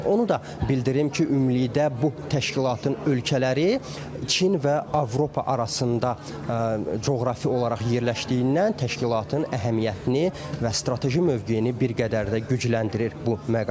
Onu da bildirim ki, ümumilikdə bu təşkilatın ölkələri Çin və Avropa arasında coğrafi olaraq yerləşdiyindən təşkilatın əhəmiyyətini və strateji mövqeyini bir qədər də gücləndirir bu məqam.